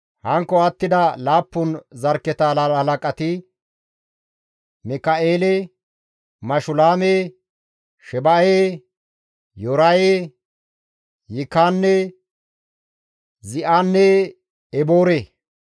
Hankko attida laappun zarkketa halaqati, Mika7eele, Mashulaame, Sheba7e, Yooraye, Yikaane, Zi7anne Eboore.